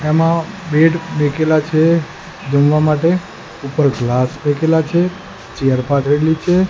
એમાં બેડ મુકેલા છે જમવા માટે ઉપર ગ્લાસ ફેકેલા છે ચેર છે.